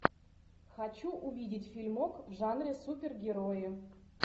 хочу увидеть фильмок в жанре супергерои